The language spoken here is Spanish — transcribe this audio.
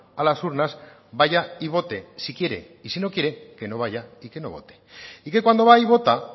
a las urnas vaya y vote si quiere y si no quiere que no vaya y que no vote y que cuando va y vota